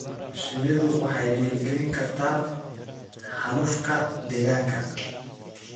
Shinnidu waxay dhiirigelin kartaa xaalufka deegaanka.